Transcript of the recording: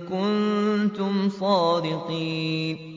كُنتُمْ صَادِقِينَ